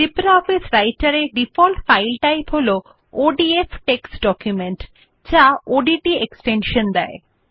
LibreOffice রাইটের মধ্যে default file type হল ওডিএফ টেক্সট ডকুমেন্ট যা ডট ওডিটি এক্সটেনশান দেয়